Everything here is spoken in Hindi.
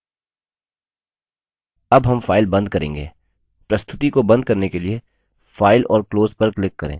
अब हम फाइल बंद करेंगे प्रस्तुति को बंद करने के लिए फाइल और close पर click करें